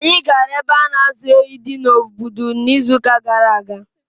Anyị gara ebe a na-azụ ehi di na Obudu n’izuụka gara aga.